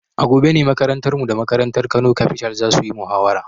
A gobe ne makarantarmu da makarantar Kano Capital za su yi muhawara.